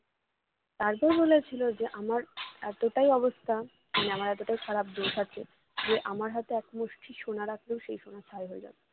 তারপর বলেছিল যে আমার এতটাই অবস্থা মানে এতটাই খারাপ দোষ আছে যে আমার হাতে এক মুষ্ঠি সোনা রাখলেও সেই সোনা ছাই হয়ে যাবে